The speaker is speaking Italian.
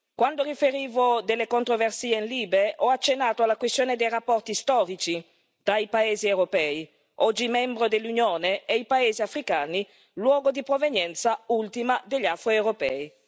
Quando riferivo delle controversie in commissione LIBE, ho accennato alla questione dei rapporti storici tra i paesi europei, oggi membri dell'Unione, ed i paesi africani, luogo di provenienza ultima degli afro europei.